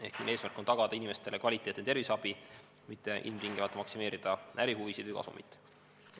Ehk eesmärk on tagada inimestele kvaliteetne terviseabi, mitte ilmtingimata maksimeerida ärihuvisid või kasumit.